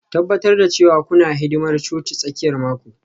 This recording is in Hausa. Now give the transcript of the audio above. Tabbatar cewa kuna hidimar cocin tsakiyar mako